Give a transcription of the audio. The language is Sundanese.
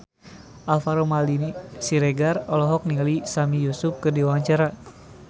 Alvaro Maldini Siregar olohok ningali Sami Yusuf keur diwawancara